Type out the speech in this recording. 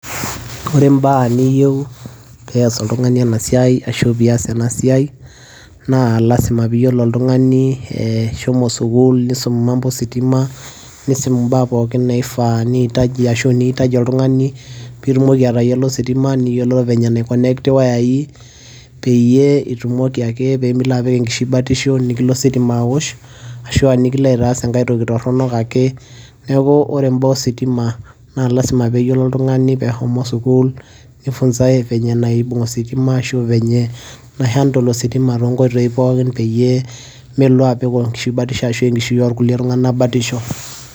ore imbaa niyieu pees oltung'ani ena siai ashu pias enasiai naa lasima piyiolo eh, shomo sukul nisum mambo ositima nisum imbaa pookin naifaa niitaji ashu niitaji oltung'ani pitumoki atayiolo ositima niyiolo venye enaikonekti iwayai peyie itumoki ake pemilo apik enkishui batisho nikilo ositima awosh ashua nikilo aitaas enkae toki torronok ake neeku ore imbaa ositima naa lasima peyiolo oltung'ani pehomo sukul nifunzae venye enaibung ositima ashu venye nai handle ositima tonkoitoi pookin peyie melo apik kon enkishui batisho ashu enkishui orkulie tung'anak batisho.